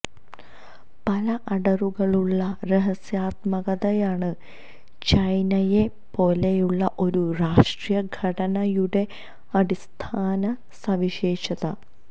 പല അടരുകളുള്ള രഹസ്യാത്മകതയാണ് ചൈനയെപ്പോലെയുള്ള ഒരു രാഷ്ട്രീയ ഘടനയുടെ അടിസ്ഥാന സവിശേഷത